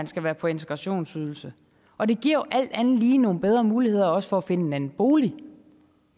skal være på integrationsydelse og det giver jo alt andet lige nogle bedre muligheder for også at finde en anden bolig